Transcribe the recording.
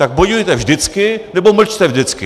Tak bojujte vždycky, nebo mlčte vždycky!